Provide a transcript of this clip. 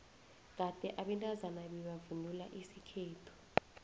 kade abantazana bebavvnula isikhethu